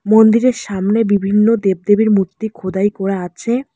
মন্দিরের সামনে বিভিন্ন দেবদেবীর মূর্তি খোদাই করা আছে।